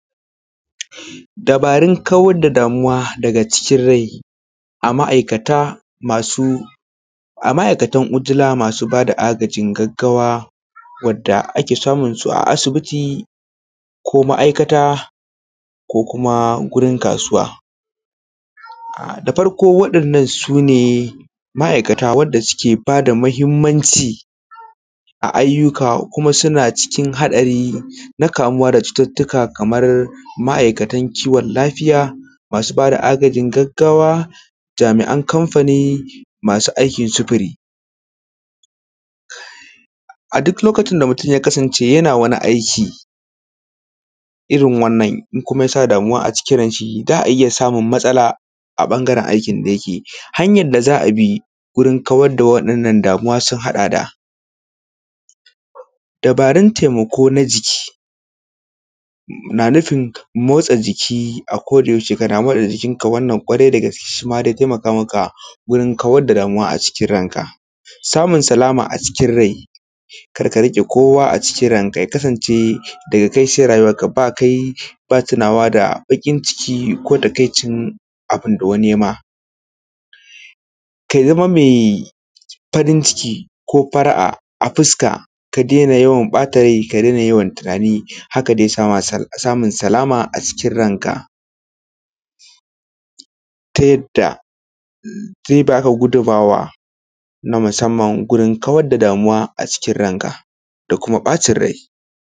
Dabarun kawar da damuwa daga cikin rai a ma’aikata a ma’aikatan ujula masu bada agajin gaggawa wanda ake samun su asibiti ko ma’aikata ko kuma gurin kasuwa. Da farko waɗannan su ne ma’aikata wanda suke bada mahimmanci a ayyuka kuma suna cikin haɗari na kamuwa da cututuka kamar ma’aikatan kiwon lafiya masu bada agajin gaggawa, jami’an kamfani, masu aikin sufuri. A duk lokacin da mutum ya kasance yana wani aiki irin wannan kuma ya sa damuwa a cikın ranshi za a iya samun matsala a ɓangaren aikin da yike yi. Hanyan da za abi wurin kawar da wa’innan damuwa sun haɗa da:- dabarun taimako na jiki, na nufin motsa jiki a kada yaushe ka damu da jikinka wannan karai da gaske zai taimaka maka wurin kawar da damuwa a cikin ranka. Samun salama a cikin rai, kar ka riƙe kowa a cikin ranka ya kasance daga kai sai rayuwanka ba kai ba tunawa da baƙin ciki ko takaicin abun da wani yema. Ka zama me farin ciki ko fara’a a fuska, ka dena yawan ɓata rai ka dena yawan tunani hakan zai sa samun salama a cikin ranka ta yadda zai baka gudummuwa na musamman gurin kawar da damuwa a cikin ranka da kuma ɓacin rai.s